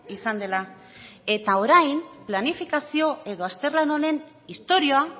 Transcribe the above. izan dela eta orain planifikazio edo azterlan honen historia